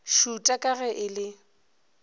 šuta ka ge e le